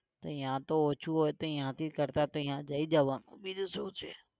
તો ત્યાં તો ઓછુ હોય તો ત્યાંથી કરતાં તો ત્યાં જઈ જવાનું. બીજું શું છે